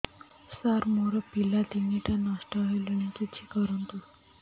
ସାର ମୋର ପିଲା ତିନିଟା ନଷ୍ଟ ହେଲାଣି କିଛି କରନ୍ତୁ